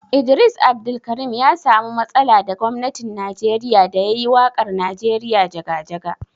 Idris Abdulkarim ya samu matsala da gwamnatin Najeriya da ya yi waƙar Najeriya jaga-jaga.